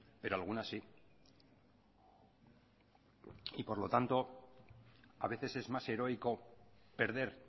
pero algunas sí por lo tanto a veces es más heroico perder